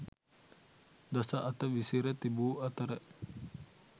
දස අත විසිර තිබූ අතර